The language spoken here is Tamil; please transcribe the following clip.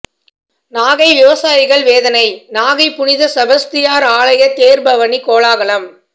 நாகை விவசாயிகள் வேதனை நாகை புனித செபஸ்தியார் ஆலய தேர்பவனி கோலாகலம்